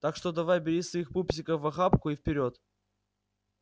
так что давай бери своих пупсиков в охапку и вперёд